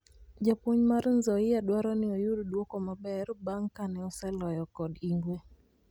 Japuonj mar Nzoia dwaroni oyud duoko maber bang kane oseloye kod ingwe